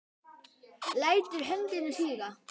Lætur höndina síga.